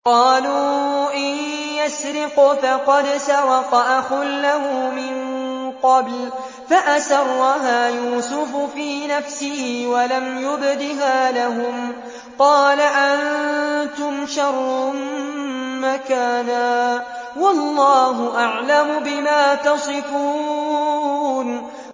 ۞ قَالُوا إِن يَسْرِقْ فَقَدْ سَرَقَ أَخٌ لَّهُ مِن قَبْلُ ۚ فَأَسَرَّهَا يُوسُفُ فِي نَفْسِهِ وَلَمْ يُبْدِهَا لَهُمْ ۚ قَالَ أَنتُمْ شَرٌّ مَّكَانًا ۖ وَاللَّهُ أَعْلَمُ بِمَا تَصِفُونَ